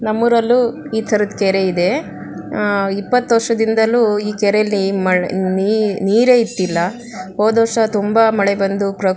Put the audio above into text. ನಮ್ಮೂರಲ್ಲೂ ಈ ತರದ ಕೆರೆ ಇದೆ ಅಹ್ ಇಪ್ಪತ್ತು ವರ್ಷದಿಂದಾನು ಈ ಕೆರೆ ಯಲ್ಲಿ ನೀರೇ ಇಟ್ಟಿಲ್ಲ ಹೋದ್ ವರ್ಷ ತುಂಬಾ ಮಳೆ ಬಂದು--